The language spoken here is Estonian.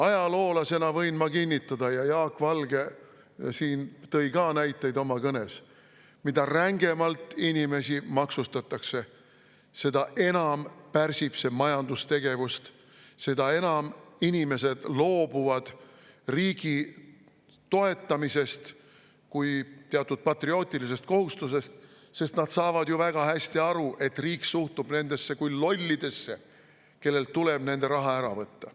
Ajaloolasena võin ma kinnitada – Jaak Valge tõi oma kõnes ka näiteid selle kohta –, et mida rängemalt inimesi maksustatakse, seda enam pärsib see majandustegevust, seda enam inimesed loobuvad riigi toetamisest kui teatud patriootilisest kohustusest, sest nad saavad väga hästi aru, et riik suhtub nendesse kui lollidesse, kellelt tuleb nende raha ära võtta.